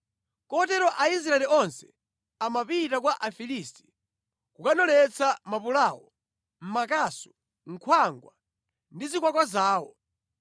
Kotero Aisraeli onse amapita kwa Afilisti kukanoletsa mapulawo, makasu, nkhwangwa ndi zikwakwa zawo.